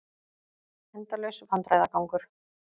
Endalaus vandræðagangur.